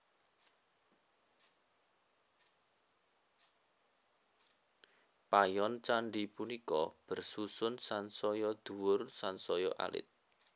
Payon candhi punika bersusun sansaya dhuwur sansaya alit